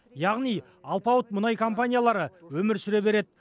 яғни алпауыт мұнай компаниялары өмір сүре береді